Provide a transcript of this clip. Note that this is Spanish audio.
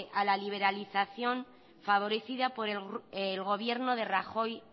a la liberalización favorecida por el gobierno de rajoy